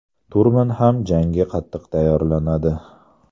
Turman ham jangga qattiq tayyorlanadi.